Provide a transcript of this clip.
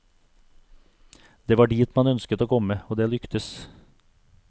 Det var dit man ønsket å komme, og det lyktes.